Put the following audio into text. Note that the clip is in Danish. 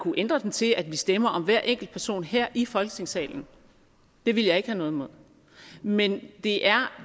kunne ændre den til at vi stemmer om hver enkelt person her i folketingssalen det ville jeg ikke have noget imod men det er